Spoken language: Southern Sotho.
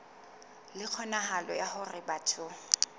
le kgonahalo ya hore batho